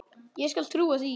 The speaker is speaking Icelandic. Ég skal trúa því.